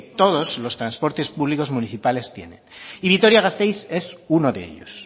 todos los transportes públicos municipales tienen y vitoria gasteiz es uno de ellos